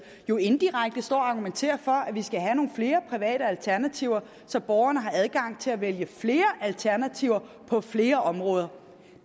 jo indirekte står og argumenterer for at vi skal have nogle flere private alternativer så borgerne har adgang til at vælge flere alternativer på flere områder